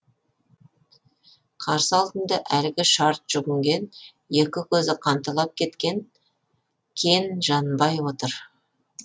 қарсы алдында әлгі шарт жүгінген екі көзі қанталап кеткен кен жанбай отыр